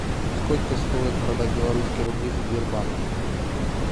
сколько стоит продать белорусские рубли в сбербанке